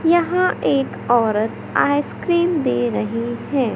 यहां एक औरत आइसक्रीम दे रही है।